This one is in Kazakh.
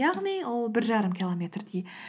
яғни ол бір жарым километрдей